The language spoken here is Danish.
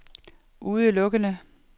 udelukkende